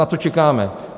Na co čekáme?